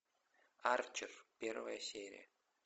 арчер первая серия